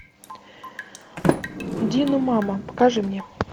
диномама покажи мне